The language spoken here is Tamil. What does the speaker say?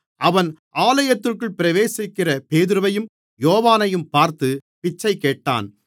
அவன் ஆலயத்திற்குள் பிரவேசிக்கிற பேதுருவையும் யோவானையும் பார்த்து பிச்சை கேட்டான்